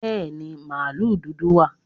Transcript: Bẹ́ẹ̀ni, màlúù dúdú wà